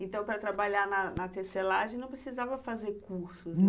Então, para trabalhar na na tecelagem, não precisava fazer cursos, né?